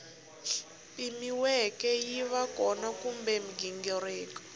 pimiweke yiva kona kumbe mighingiriko